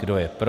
Kdo je pro?